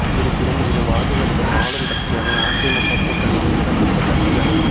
இருப்பினும் இரு வாா்டுகளிலும் ஆளும் கட்சியான அதிமுக கூட்டணியில் இடம்பெற்ற கட்சிகளின்